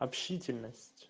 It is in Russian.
общительность